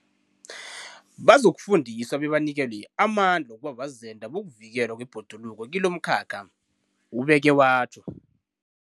Bazokufundiswa bebanikelwe amandla wokuba bazenda bokuvikelwa kwebhoduluko kilomkhakha, ubeke watjho.